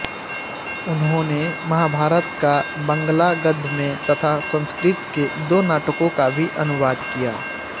उन्होंने महाभारत का बँगला गद्य में तथा संस्कृत के दो नाटकों का भी अनुवाद किया